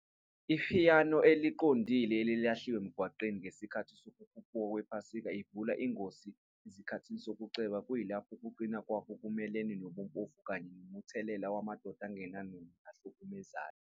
Ipiyano eqondile elahliwe emgwaqweni ngesikhathi sokukhuphuka kwePhasika ivula ingosi ezikhathini zokuceba, kuyilapho ukuqina kwakhe ngokumelene nobumpofu kanye nomthelela wamadoda angenangqondo nahlukumezayo.